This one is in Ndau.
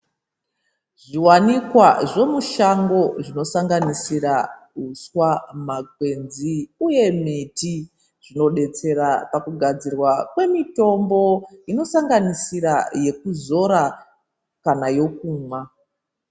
Zviwanikwa zvomushango zvinosanganisira, uswa, makwenzi uye miti, zvinodetsera pakugadzirwa kwemitombo, inosanganisira yekuzora kana yokumwa.